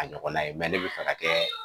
A ɲɔgɔnna ye ne bɛ fɛ ka kɛ